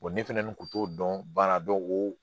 ne fana kun t'o dɔn baara o